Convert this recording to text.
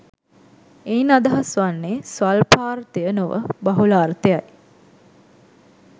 එයින් අදහස් වන්නේ ස්වල්පාර්ථය නොව බහුලාර්ථයයි.